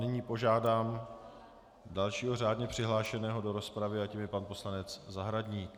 Nyní požádám dalšího řádně přihlášeného do rozpravy a tím je pan poslanec Zahradník.